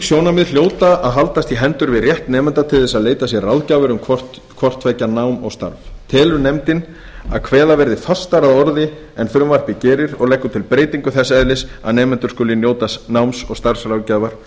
sjónarmið hljóta að haldast í hendur við rétt nemenda til að leita sér ráðgjafar um hvort tveggja nám og starf telur nefndin að kveða verði fastar að orði en frumvarpið gerir og leggur til breytingu þess eðlis að nemendur skuli njóta náms